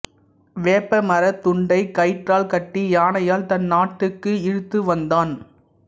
வேப்ப மரத் துண்டைக் கயிற்றால் கட்டி யானையால் தன் நாட்டுக்கு இழுத்துவந்தான்